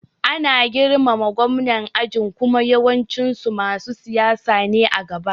Ana girmama Gwamnan aji kuma yawancin su masu siyasa ne a gaba